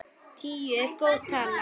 Tíu er góð tala.